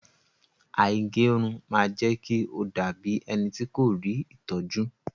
Àìgẹrun ma jẹ́kí o dabi ẹnití kò rí ìtọ́jú.